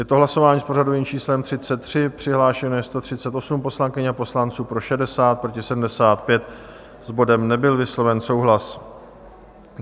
Je to hlasování s pořadovým číslem 33, přihlášeno je 138 poslankyň a poslanců, pro 60, proti 75, s bodem nebyl vysloven souhlas.